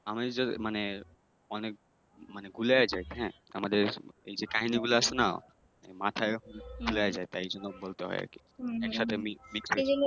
আমি যদি মানে অনেক মানে গুলায় যাই হ্যাঁ আমাদের এইযে কাহিনীগুলো আছে নাহ মাথায় গুলায় যায় তাই জন্য বলতে হয় আর কি একসাথে Mixed